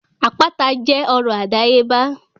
Àpáta jẹ́ ọrọ̀ àdáyébá